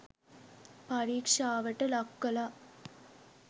පරීක්ෂාවට ලක් කලා.